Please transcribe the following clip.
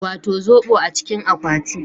Wato zobo a cikin akwati